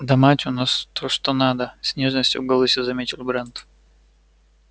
да мать у нас то что надо с нежностью в голосе заметил брент